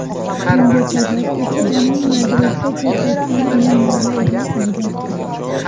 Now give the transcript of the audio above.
Bunga sabab esa uning Madridda ko‘rsatgan o‘yinlari edi, albatta.